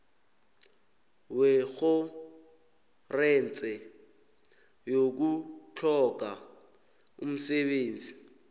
wetjhorense yokutlhoga umsebenzi